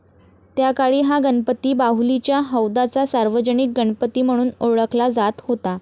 त्याकाळी हा गणपती बाहुलीच्या हौदाचा सार्वजनिक गणपती म्हणून ओळखला जात होता.